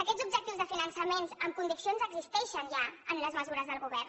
aquests objectius de finançament amb condicions existeixen ja en les mesures del govern